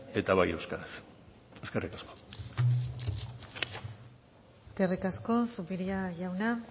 eta bai euskaraz eskerrik asko eskerrik asko zupiria jauna